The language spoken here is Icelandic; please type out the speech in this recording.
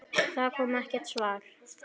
Það kom ekkert svar.